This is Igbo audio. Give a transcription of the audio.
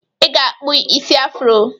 I ga-akpụ isi afro!